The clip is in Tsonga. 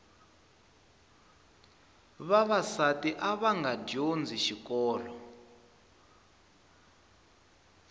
vavasati avanga dyondzi xikolo